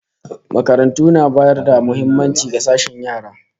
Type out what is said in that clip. Makarantu na bayar da muhimmaci ga sashen yara